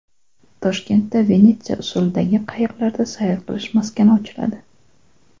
Toshkentda Venetsiya usulidagi qayiqlarda sayr qilish maskani ochiladi.